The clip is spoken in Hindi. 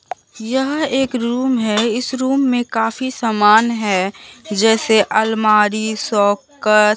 यह एक रूम है इस रूम में काफी सामान है जैसे अलमारी शोकास ।